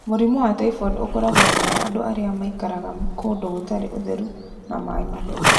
Mũrimũ wa typhoid ũkoragwo mũno andũ arĩa maikaraga kũndũ gũtarĩ ũtheru na maĩ matheru.